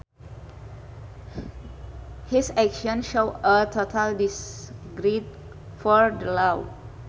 His actions showed a total disregard for the law